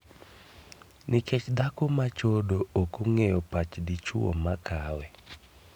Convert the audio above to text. Nikech dhako machodo ok og'eyo pach dichuo makawe.